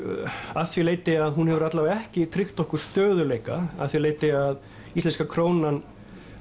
að því leyti að hún hefur alla vega ekki tryggt okkur stöðugleika að því leyti að íslenska krónan